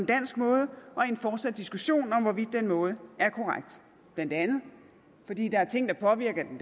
dansk måde og i en fortsat diskussion om hvorvidt den måde er korrekt blandt andet fordi der er ting der påvirker